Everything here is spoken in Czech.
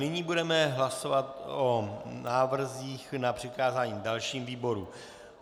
Nyní budeme hlasovat o návrzích na přikázání dalším výborům.